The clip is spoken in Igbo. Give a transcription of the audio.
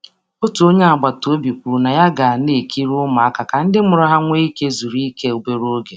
Onye agbata obi kwere inyeaka lekọta ụmụaka ka nne na nna nne na nna nwee ike izuike obere oge.